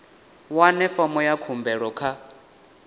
wane fomo ya khumbelo kha